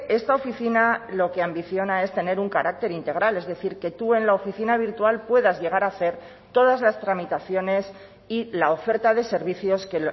esta oficina lo que ambiciona es tener un carácter integral es decir que tú en la oficina virtual puedas llegar a hacer todas las tramitaciones y la oferta de servicios que